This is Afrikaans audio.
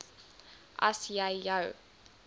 as jy jou